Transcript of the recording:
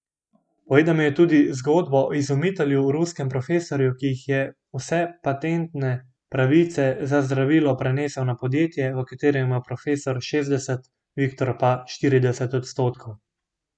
Povedal jim je tudi zgodbo o izumitelju, ruskem profesorju, ki ji je vse patentne pravice za zdravilo prenesel na podjetje, v katerem ima profesor šestdeset, Viktor pa štirideset odstotkov.